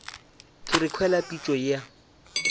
ke re kwele pitšo ya